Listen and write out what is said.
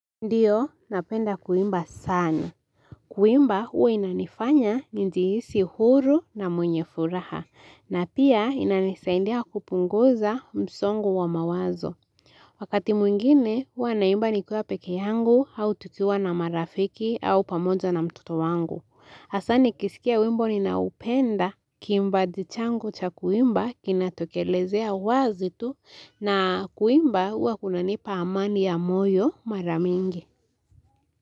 Ndiyo, napenda kuimba sana. Kuimba, huwa inanifanya njihisi huru na mwenye furaha. Na pia, inanisaindia kupunguza msongo wa mawazo. Wakati mwingine, huwa naimba nikuwa peke yangu au tutuwa na marafiki au pamoja na mtoto wangu. Hasa nikisikia wimbo ninao upenda kiimbaji changu cha kuimba kinatokelezea wazi tu na kuimba huwa inanipa amani ya moyo mara mingi.